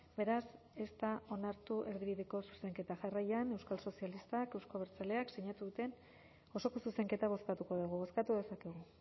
beraz ez da onartu erdibideko zuzenketa jarraian euskal sozialistak euzko abertzaleak sinatu duten osoko zuzenketa bozkatuko dugu bozkatu dezakegu